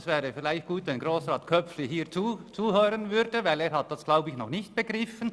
Es wäre vielleicht gut, wenn Grossrat Köpfli hier zuhören würde, denn er hat das wohl noch nicht begriffen.